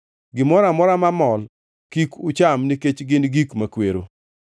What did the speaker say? “ ‘Gimoro amora mamol kik ucham nikech gin gik makwero.